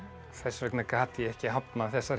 þess vegna gat ég ekki hafnað þessari